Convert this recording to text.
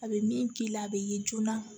A bɛ min k'i la a bɛ ye joona